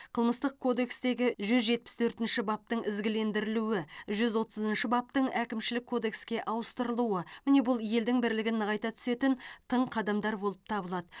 қылмыстық кодекстегі жүз жетпіс төртінші баптың ізгілендірілуі жүз отызыншы баптың әкімшілік кодекске ауыстырылуы міне бұл елдің бірлігін нығайта түсетін тың қадамдар болып табылады